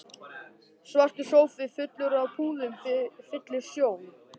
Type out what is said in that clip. Svartur sófi fullur af púðum fyllir sjón